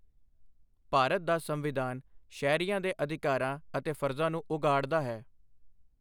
ਭਾਰਤ ਦਾ ਸੰਵਿਧਾਨ ਸ਼ਹਿਰੀਆਂ ਦੇ ਅਧਿਕਾਰਾਂ ਅਤੇ ਫਰਜ਼ਾਂ ਨੂੰ ਉਘਾੜਦਾ ਹੈ।